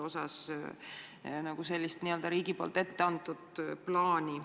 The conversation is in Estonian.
Pole nagu sellist riigi poolt ette antud plaani.